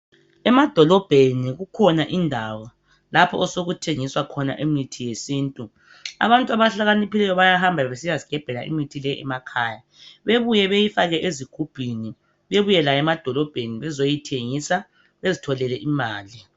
Emadolobheni kukhona indawo lapho osokuthengiswa khona imithi yesintu. Abantu abahlakaniphileyo bayahamba besiya zigebhela imithi le emakhaya, bebuya beyifake ezigubhini, bebuye layo emadolobheni bezoyithengisa bezitholele imali.